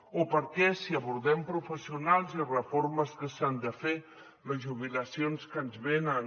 o per què si abordem professionals i reformes que s’han de fer les jubilacions que ens venen